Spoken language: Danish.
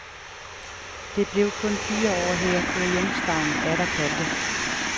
Det blev kun til fire år her, før hjemstavnen atter kaldte.